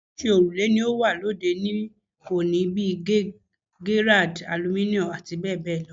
Oríṣiríṣi òrùlé ni ó wà lóde òní bíi Gerrard, Aluminum àti bẹ́ẹ̀ bẹ́ẹ̀ lọ